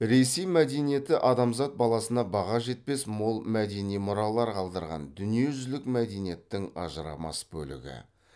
ресей мәдениеті адамзат баласына баға жетпес мол мәдени мұралар қалдырған дүниежүзілік мәдениеттің ажырамас бөлігі